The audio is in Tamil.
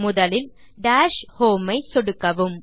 முதலில் டாஷ் ஹோம் ஐ சொடுக்கவும்